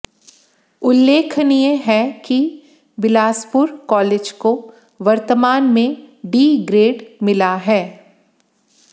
उल्लेखनीय है कि बिलासपुर कालेज को वर्तमान में डी ग्रेड मिला है